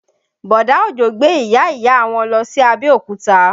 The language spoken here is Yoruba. Bọ̀dá Òjó gbé ìyá ìyá wọn lọ sí Abẹ́òkúta